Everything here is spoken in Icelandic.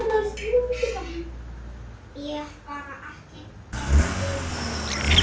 Ég er bara ekki einn um það.